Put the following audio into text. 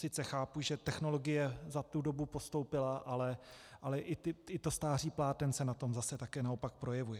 Sice chápu, že technologie za tu dobu postoupila, ale i to stáří pláten se na tom zase také naopak projevuje.